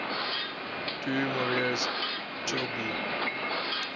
du maurier's trilby